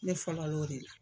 Ne fɔlɔ o de la.